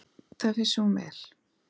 Það vissi hún vel.